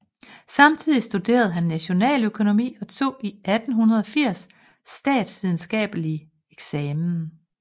Samtidig studerede han nationaløkonomi og tog i 1880 statsvidenskabelig eksamen